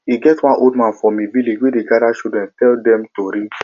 e get one old man for me village wey dey gada children tell dem tori